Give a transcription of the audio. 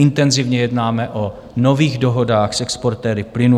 Intenzivně jednáme o nových dohodách s exportéry plynu.